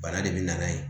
Bana de bɛ na n'a ye